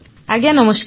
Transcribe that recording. ଆଜ୍ଞା ନମସ୍କାର